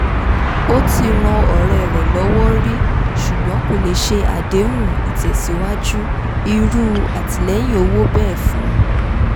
ó ti ran ọ̀rẹ́ rẹ̀ lọ́wọ́ rí ṣùgbọ́n kò lè ṣe àdéhùn ìtẹ̀síwájú irú àtìlẹ́yìn owó bẹ́ẹ̀ fun